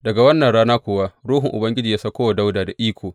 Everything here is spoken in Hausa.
Daga wannan rana kuwa ruhun Ubangiji ya sauko wa Dawuda da iko.